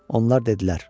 Onlar dedilər: